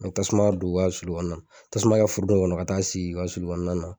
N tasuma don u ka sulukɔnɔna na anan tasuma kɛ furunɔ kɔnɔ ka taa sigi i ka sulu kɔnɔna na